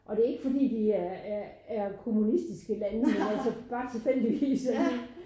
Og det ikke fordi de er er er kommunistiske lande men altså bare tilfældigvis